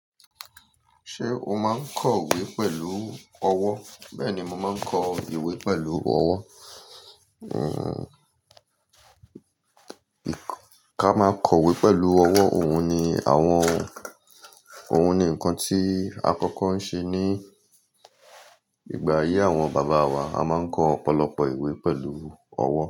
Ṣé o máa ń kọ ìwé pẹ̀lú ọwọ́? Bẹ́ẹ̀ni, mo máa ń kọ ìwé pẹ̀lú ọwọ́. Uh, ká máa kọ ìwé pẹ̀lú ọwọ́, òun ni àwọn-- òun ni nǹkan tí à kọ́kọ́ ń ṣe ní ìgbà ayé àwọn bàbá wa. A máa ń kọ ọ̀pọ̀lọpọ̀ ìwé pẹ̀lú ọwọ́